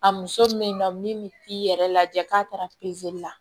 A muso bɛ yen nɔ min bɛ t'i yɛrɛ lajɛ k'a taara la